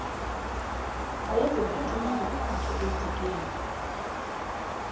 wayeziphuthume ngokwakhe edikeni